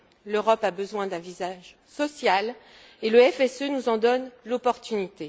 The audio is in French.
L'Europe a besoin d'un visage social et le FSE nous en donne l'opportunité.